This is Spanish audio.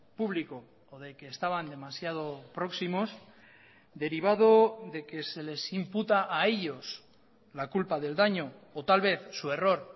público o de que estaban demasiado próximos derivado de que se les imputa a ellos la culpa del daño o tal vez su error